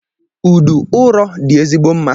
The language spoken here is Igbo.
Udu ụrọ dị ezigbo mma.